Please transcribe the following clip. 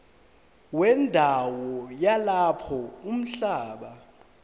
wendawo yalapho umhlaba